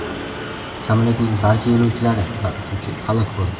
Samolyotning barcha yo‘lovchilari va uchuvchi halok bo‘ldi.